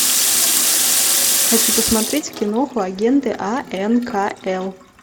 хочу посмотреть киноху агенты анкл